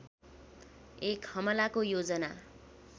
एक हमलाको योजना